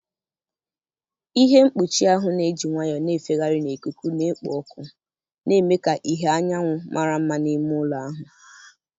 Ihe mkpuchi ahụ na-eji nwayọọ na-efegharị na ikuku na-ekpo ọkụ, na-eme ka ìhè anyanwụ mara mma n'ime ụlọ ahụ.